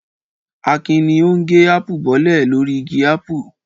Akin ni ó ń gé ápù bọ́lẹ̀ lórí igi ápù.